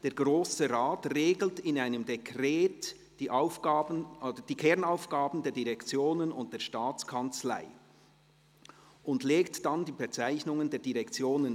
a Zusammenhang der Aufgaben, b Zweckmässigkeit der Führung, c sachliche und politische Ausgewogenheit unter den Direktionen.